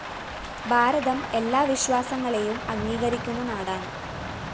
ഭാരതം എല്ലാ വിശ്വാസങ്ങളെയും അംഗീകരിക്കുന്ന നാടാണ്